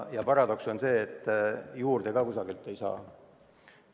Paradoks on see, et juurde ka kusagilt ei saa.